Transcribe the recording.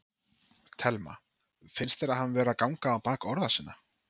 Telma: Finnst þér hann vera að ganga á bak orða sinna?